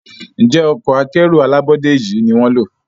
Njé Ọkọ̀ akẹ́rù alábọ́dé yi ní wón ló?